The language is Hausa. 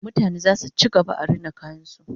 mutane zasu ci gaba da Rina kayan su